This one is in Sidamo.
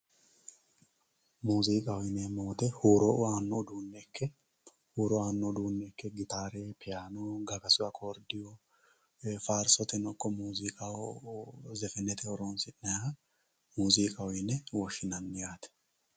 muuziiqaho yineemmo woyiite huuro aanno uduunne ikke huuro aanno gitaare piyaano gagasu akoordiyuu faarsoteno ikko muuziiqaho zefenete horoonsi'nayha muuziiqaho yine woshshinanni yaate.